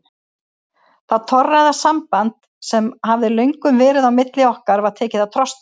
Það torræða samband sem hafði löngum verið á milli okkar var tekið að trosna.